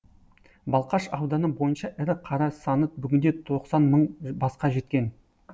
балқаш ауданы бойынша ірі қара саны бүгінде тоқсан мың басқа жеткен